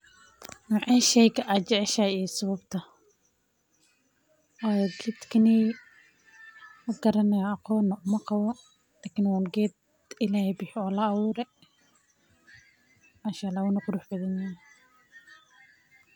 Nooce sheygan aad jeceshahy iyo sababta, qedkaney mqaranayo aqoonbo umaqabo, wa un qed illahey bihiyee oo laawure manshaalax wuna qurux badan yaxaay.